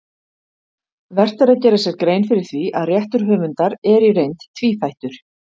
Vert er að gera sér grein fyrir því að réttur höfundar er í reynd tvíþættur.